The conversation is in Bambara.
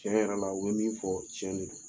Tiɲɛ yɛrɛ la o bɛ min fɔ tiɲɛ de don.